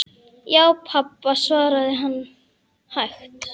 Já, pabba, svaraði hann hægt.